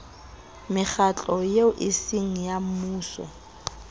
mekgatlo eo eseng ya mmuso